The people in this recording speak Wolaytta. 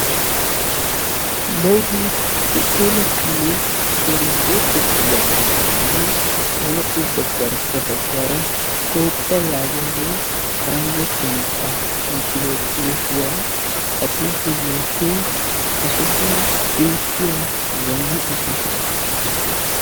Lewi hooteletanne irzzoretetta yaagiyaganne hegappe garssa baggaara Toophiya yaagiyagee paranjjatuwan xaafeti uttido xuufiya. Ha xuufee yootiyoy ha sohuwan beettiya zannaqqa sohuwaa.